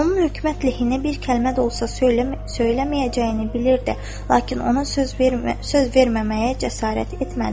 Onun hökumət lehinə bir kəlmə də olsa söyləməyəcəyini bilirdi, lakin ona söz verməməyə cəsarət etmədi.